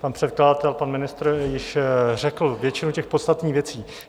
Pan předkladatel, pan ministr již řekl většinu těch podstatných věcí.